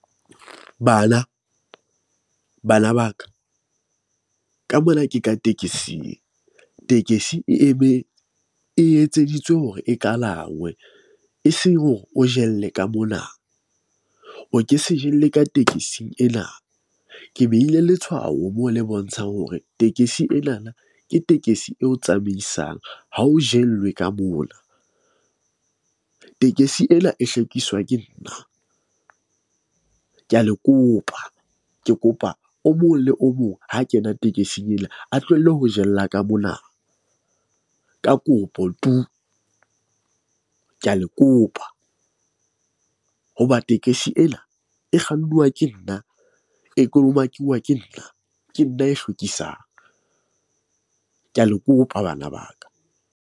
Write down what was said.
Bana bana ba ka ka mona ke ka tekesing. Tekesi e e etseditswe hore e kalangwe eseng hore o jelle ka mona. O ke se jelle ka tekesing ena. Ke behile letshwao mo le bontshang hore tekesi e na na ke tekesi eo tsamaisang ha o jwellwe ka mona . Tekesi ena e hlwekiswa ke nna . Ke a le kopa ke kopa o mong le o mong ha kena tekesing ena. A tlohelle ho jella ka mona. Ka kopo tu, ke a le kopa, hoba tekesi ena e kgannuwa ke nna, E kolomakuwuwa ke nna. Ke nna a e hlwekisang . Ke a le kopa bana ba ka.